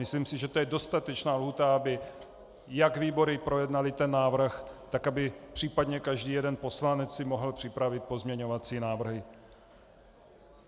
Myslím si, že to je dostatečná lhůta, aby jak výbory projednaly ten návrh, tak aby případně každý jeden poslanec si mohl připravit pozměňovací návrhy.